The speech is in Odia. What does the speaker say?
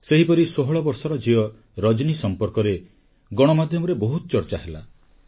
ସେହିପରି 16 ବର୍ଷର ଝିଅ ରଜନୀ ସମ୍ପର୍କରେ ଗଣମାଧ୍ୟମରେ ବହୁତ ଚର୍ଚ୍ଚା ହେଲା